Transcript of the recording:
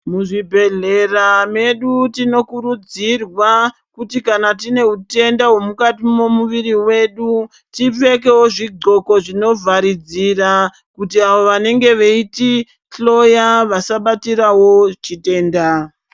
Muzvibhedhlera medu tinokurudzirwa kuti kana tine utenda hwemukati memuviri wedu tipfekewo zvidxoko zvinovharidzira kuti vanenge veitihloya vasabatirawo chitenda.